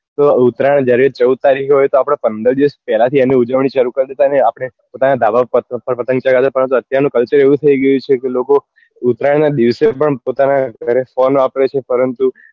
તો ઉતરાયણ જ્યારે ચૌદ તારીખે હોય તો આપડે પંદર દિવસ પેલા થી એની ઉજવણી શરુ કરી દેતા ને આપડે પોતાના ધાબા પર પતંગ ચગાવતા પરંતુ અત્યાર નું culture એવું થઇ ગયું છે કે લોકો ઉતરાયણ નાં દિવસે પણ પોતાના ઘરે phone વાપરે છે પરંતુ